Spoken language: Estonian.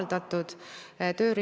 Lugupeetud minister!